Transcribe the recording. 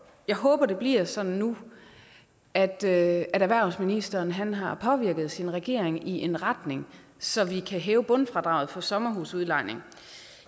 jeg håber det bliver sådan nu at erhvervsministeren har påvirket sin regering i en retning så vi kan hæve bundfradraget for sommerhusudlejning